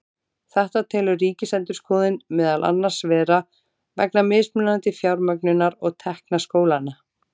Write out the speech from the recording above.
Þetta telur Ríkisendurskoðun meðal annars vera vegna mismunandi fjármögnunar og tekna skólanna.